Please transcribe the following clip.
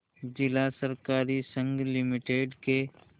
जिला सहकारी संघ लिमिटेड के